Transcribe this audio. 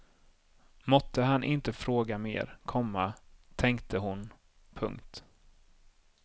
Måtte han inte fråga mer, komma tänkte hon. punkt